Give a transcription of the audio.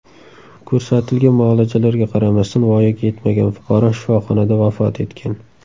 Ko‘rsatilgan muolajalarga qaramasdan voyaga yetmagan fuqaro shifoxonada vafot etgan.